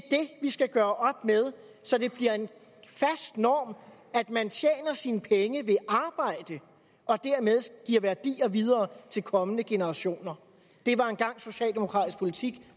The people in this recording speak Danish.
vi skal gøre op med så det bliver en fast norm at man tjener sine penge ved arbejde og dermed giver værdier videre til kommende generationer det var engang socialdemokratisk politik